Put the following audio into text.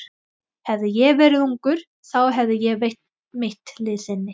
Hefði ég verið ungur, þá hefði ég veitt mitt liðsinni.